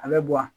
A bɛ bɔ a